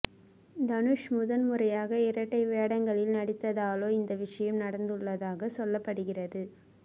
தனுஷ் முதன்முறையாக இரட்டை வேடங்களில் நடித்ததாலே இந்த விஷயம் நடந்துள்ளதாக சொல்லப்படுகிறது